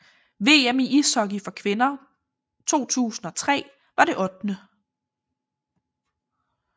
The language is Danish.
VM i ishockey for kvinder 2003 var det 8